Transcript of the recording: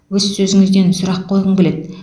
өз сөзіңізден сұрақ қойғым келеді